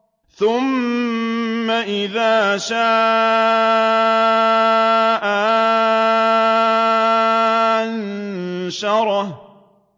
ثُمَّ إِذَا شَاءَ أَنشَرَهُ